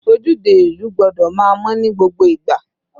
Ojúde ìlú gbọ́dọ̀ máa mọ́ ní gbogbo ìgbà.